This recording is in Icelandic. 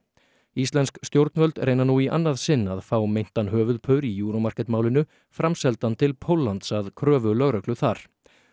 íslensk stjórnvöld reyna nú í annað sinn að fá meintan höfuðpaur í Euro Market málinu framseldan til Póllands að kröfu lögreglu þar